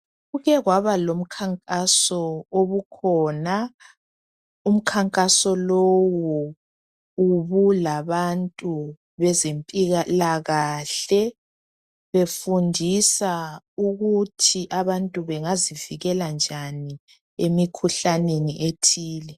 kuke kwaba lomkhankaso obukhona umkhankaso lowu ubulabantu bezempilakahle befundisa ukuthi abantu bengazivikela njani emikhuhlaneni ethile